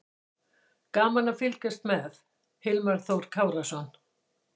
Gaman að fylgjast með: Hilmar Þór Kárason.